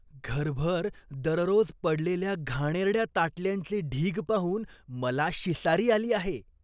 घरभर दररोज पडलेल्या घाणेरड्या ताटल्यांचे ढीग पाहून मला शिसारी आली आहे.